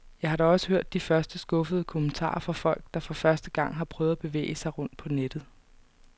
Jeg har da også hørt de første skuffede kommentarer fra folk, der for første gang har prøvet at bevæge sig rundt på nettet.